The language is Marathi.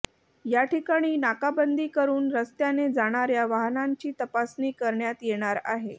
या ठिकाणी नाकाबंदी करून रस्त्याने जाणाऱ्या वाहनांची तपासणी करण्यात येणार आहे